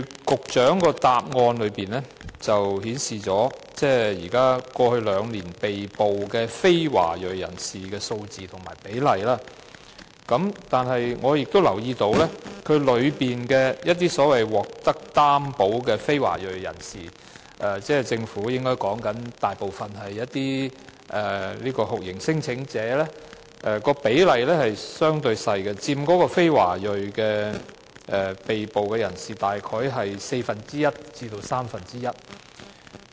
局長在主體答覆中列出過去兩年被捕的非華裔人士的數字和比例，我留意到當中所謂獲擔保的非華裔人士，所指的應該大部分是免遣返聲請人，其比例相對較小，佔被捕非華裔人士約四分之一至三分之一。